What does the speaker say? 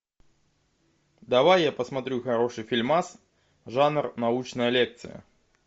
давай я посмотрю хороший фильмас жанр научная лекция